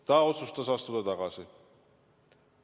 Ta otsustas ise tagasi astuda.